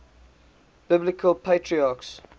biblical patriarchs